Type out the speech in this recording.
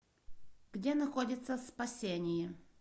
где находится спасение